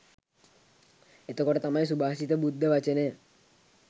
එතකොට තමයි සුභාෂිත බුද්ධ වචනය